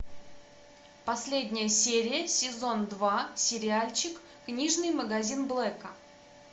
последняя серия сезон два сериальчик книжный магазин блэка